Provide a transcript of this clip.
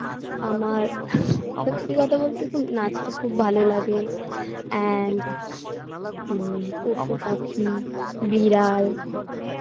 আমার সত্যি কথা বলতে কি নাচটা খুব ভালো লাগে and উম পশুপাখি বিড়াল